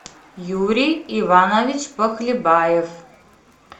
юрий иванович похлебаев